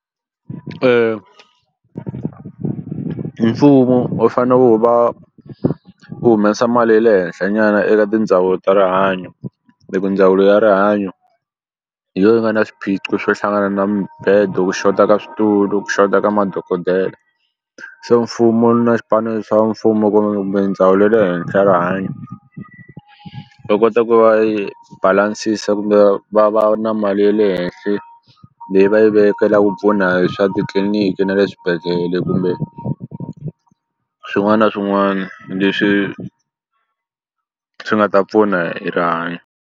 Mfumo wu fane wu va wu humesa mali ya le henhla nyana eka tindhawu ta rihanyo hi ku ndzawulo ya rihanyo hi yo yi nga na swiphiqo swo hlangana na mibedo ku xota ka switulu ku xota ka madokodela se mfumo na xipano xa mfumo kumbe mindzawulo ya le henhla rihanyo va kota ku va yi balance-sa kumbe va va va na mali ye le henhle leyi va yi vekela ku pfuna hi swa titliniki na le swibedhlele kumbe swin'wana na swin'wani leswi swi nga ta pfuna hi rihanyo.